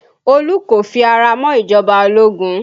Olu kò fi ara mọ́ ìjọba ológun